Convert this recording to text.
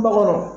Kungo kɔnɔ